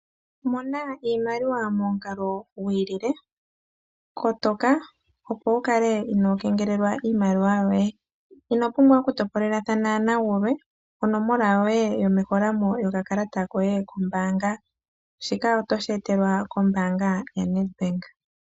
Mona iimaliwa momukalo gwiilile, kotoka opo wukale ino kengelelwa iimaliwa yo ye inopumbwa oku topolelathana na gulwe onomola yoye yomeholamo yokakalata koye kombaanga, shika oto shi etelwa kombaanga ya Nedbank.